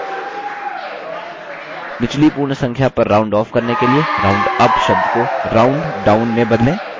निचली पूर्ण संख्या पर round off करने के लिए roundup शब्द को rounddown में बदलें